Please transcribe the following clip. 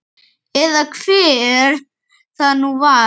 Eða hver það nú var.